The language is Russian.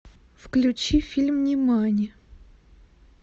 включи фильм нимани